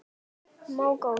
Smá gola.